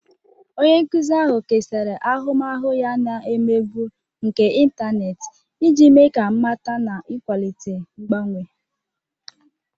Onye nkuzi ahụ kesara ahụmahụ ya na emegbu nke ịntanetị iji mee ka mmata na ịkwalite mgbanwe.